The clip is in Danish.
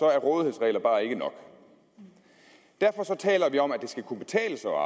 er rådighedsregler bare ikke nok derfor taler vi om at det skal kunne betale sig